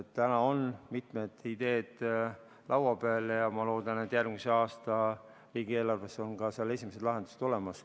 Täna on mitmed ideed laua peal ja ma loodan, et järgmise aasta riigieelarves on esimesed lahendused olemas.